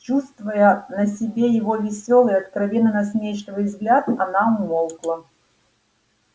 чувствуя на себе его весёлый откровенно насмешливый взгляд она умолкла